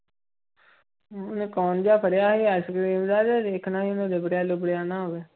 ਉਹਨੇ ਕੌਣ ਜਿਹਾ ਫੜਿਆ ਹੋਇਆ ਆਇਸਕਰੀਮ ਦਾ ਤੇ ਦੇਖਣਾ ਸੀ ਉਹਨੂੰ ਲਿਬੜਿਆ ਲੁਬੜਿਆ ਨਾ ਹੋਵੇ।